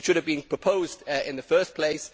it should have been proposed in the first place.